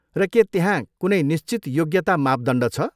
र के त्यहाँ कुनै निश्चित योग्यता मापदण्ड छ?